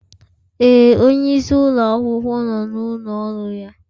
Ee, onyeisi ụlọ akwụkwọ nọ n'ụlọ ọrụ ya